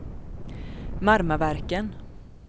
Marmaverken